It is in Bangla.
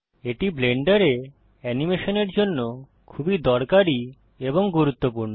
এটি ব্লেন্ডারে অ্যানিমেশনের জন্য খুবই দরকারী এবং গুরুত্বপূর্ণ